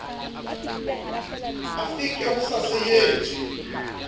a veke ho sa sejetswe